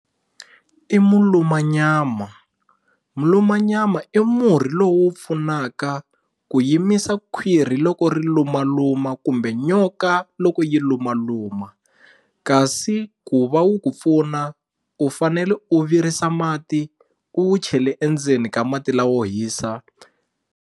I mulumanyama mulumanyama i murhi lowu pfunaka ku yimisa khwirhi loko ri lumaluma kumbe nyoka loko yi lumaluma kasi ku va wu ku pfuna u fanele u virisa mati u wu chele endzeni ka mati lawo hisa.